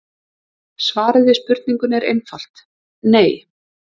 Svarið við spurningunni er einfalt: nei.